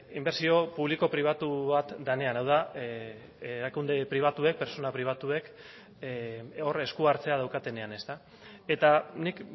inbertsio publiko pribatu bat denean hau da erakunde pribatuek pertsona pribatuek hor esku hartzea daukatenean eta nik